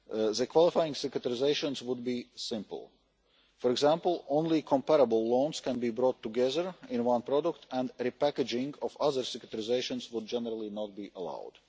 The qualifying securitisations would be simple. For example, only comparable loans can be brought together in one product, and the repackaging of other securitisations would generally not be allowed.